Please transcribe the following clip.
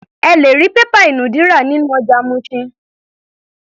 Ẹ lè rí pépà ìnùdí rà nínú ọjà Mushin.